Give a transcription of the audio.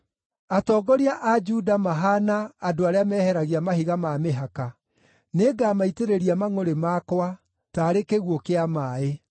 Atongoria a Juda mahaana andũ arĩa meheragia mahiga ma mĩhaka. Nĩngamaitĩrĩria mangʼũrĩ makwa, taarĩ kĩguũ kĩa maaĩ.